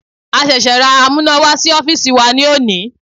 A ṣẹ̀ṣẹ̀ ra amúnáwá sí ọ́fìsì wa ní òní.